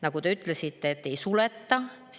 Nagu te ütlesite, neid ei suleta.